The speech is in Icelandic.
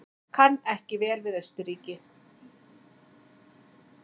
Kann ekki vel við Austurríki.